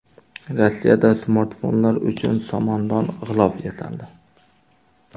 Rossiyada smartfonlar uchun somondan g‘ilof yasaldi.